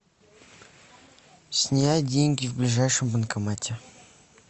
снять деньги в ближайшем банкомате